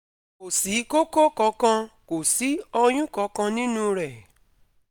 kò sí koko kankan, kò sí oyun kankan nínú rẹ̀